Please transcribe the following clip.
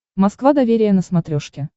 москва доверие на смотрешке